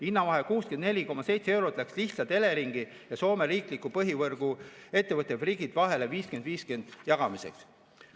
Hinnavahe 64, eurot läks lihtsalt Eleringi ja Soome riikliku põhivõrguettevõtte Fingrid vahel 50 : 50 jagamiseks.